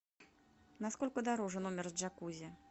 на сколько дороже номер с джакузи